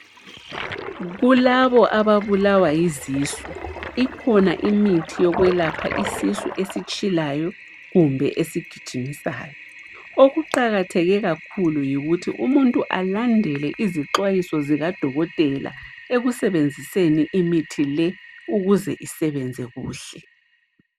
Kulabo ababulawa yizisu ikhona imithi yokwelapha isisu esitshilayo kumbe esigijimisayo. Okuqakatheke kakhulu yikuthi umuntu alandele izixwayiso zikadokotela ekusebenziseni imithi le ukuze isebenze kuhle.